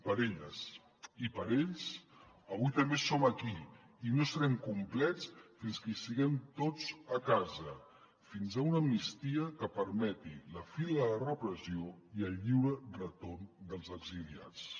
per elles i per ells avui també som aquí i no serem complets fins que siguem tots a casa fins a una amnistia que permeti la fi de la repressió i el lliure retorn dels exiliats